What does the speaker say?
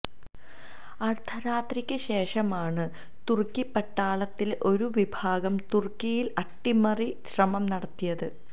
അര്ധരാത്രിയ്ക്ക് ശേഷമാണ് തുര്ക്കി പട്ടാളത്തിലെ ഒരു വിഭാഗം തുര്ക്കിയില് അട്ടിമറി ശ്രമം നടത്തിയത്